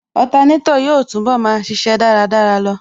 Otanétò yóò túnbọ̀ máa ṣíṣe dáradára lọ